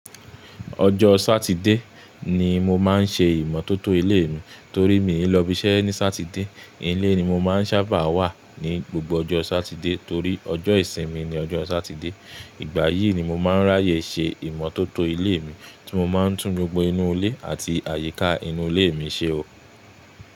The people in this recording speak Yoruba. Ọjọ́ Sátidé ni mo má ń ṣe ìmọ́tótó ilé mi torí mi ò lọ ibi iṣẹ́ ní Sátidé. Ilé ni mo má ń sábà wà ní gbogbo ọjọ́ Sátidé torí ọjọ́ ìsinmi ni ọjọ́ Sátidé. Ìgbà yìí ni mo má ń ráyè ṣe ìmọ́tótó ilé mi tí mo má ń tún gbogbo inú ilé àti àyíká inú ilé mi ṣe o.